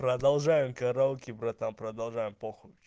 продолжаем караоке братан продолжаем похуй